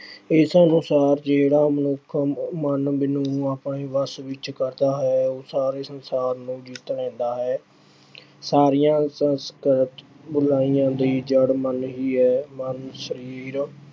ਇਸ ਅਨੁਸਾਰ ਜਿਹੜਾ ਮਨੁੱਖ ਮਨ ਅਹ ਮਨ ਨੂੰ ਆਪਣੇ ਵੱਸ ਵਿੱਚ ਕਰਦਾ ਹੈ, ਉਹ ਸਾਰੇ ਸੰਸਾਰ ਨੂੰ ਜਿੱਤ ਲੈਂਦਾ ਹੈ। ਸਾਰੀਆਂ ਸੰਸਾਰਿਕ ਅਹ ਬੁਰਾਈਆਂ ਦਾ ਜੜ੍ਹ ਮਨ ਹੀ ਹੈ। ਮਨ ਸਰੀਰ